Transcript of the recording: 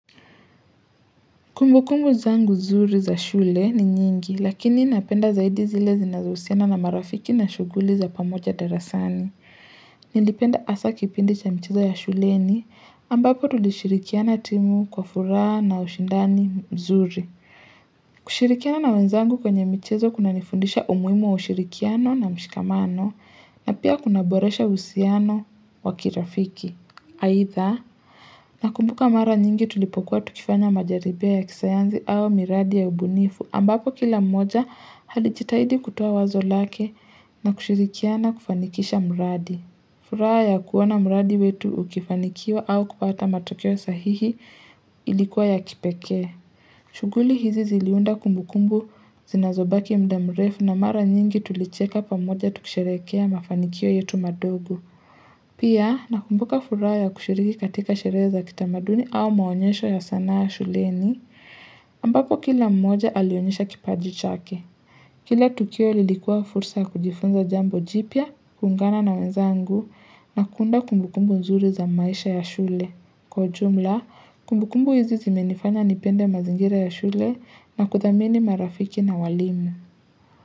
Kumbukumbu zangu nzuri za shule ni nyingi, lakini napenda zaidi zile zinazohusiana na marafiki na shughuli za pamoja darasani. Nilipenda asa kipindi cha mchezo ya shuleni ambapo tulishirikiana timu kwa furaha na ushindani mzuri. Kushirikiana na wenzangu kwenye michezo kunanifundisha umuhimu wa ushirikiano na mshikamano na pia kunaboresha uhusiano wakirafiki. Aidha, nakumbuka mara nyingi tulipokuwa tukifanya majaribio ya kisayanzi au miradi ya ubunifu ambapo kila mmoja alijitahidi kutoa wazo lake na kushirikiana kufanikisha mradi. Furaha ya kuona mradi wetu ukifanikiwa au kupata matokeo sahihi ilikuwa ya kipekee. Shuguli hizi ziliunda kumbukumbu zinazobaki mda mrefu na mara nyingi tulicheka pamoja tukisherehekea mafanikio yetu madogo. Pia, nakumbuka furaha ya kushiriki katika sherehe za kitamaduni au maonyesho ya sanaa ya shuleni, ambapo kila mmoja alionyesha kipaji chake. Kila tukio lilikua fursa kujifunza jambo jipya, kuungana na wezangu na kuunda kumbukumbu nzuri za maisha ya shule. Kwa ujumla, kumbukumbu hizi zimenifanya nipende mazingira ya shule na kuthamini marafiki na walimu.